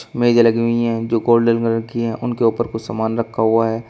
मेज़े लगी हुई हैं जो गोल्डन कलर की हैं उनके ऊपर कुछ सामान रखा हुआ है।